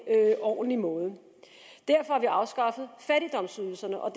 ordentlig måde derfor har vi afskaffet fattigdomsydelserne og